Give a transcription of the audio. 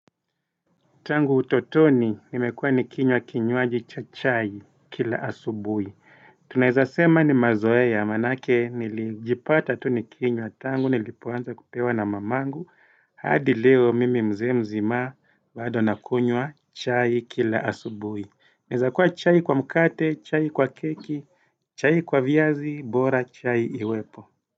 Tangu utotoni, nimekuwa nikinywa kinywaji cha chai kila asubuhi. Tunaeza sema ni mazoea maanake nilijipata tu nikinywa tangu, nilipoanza kupewa na mamangu. Hadi leo mimi mzee mzima bado nakunywa chai kila asubui. Inaweza kuwa chai kwa mkate, chai kwa keki, chai kwa viazi, bora chai iwepo.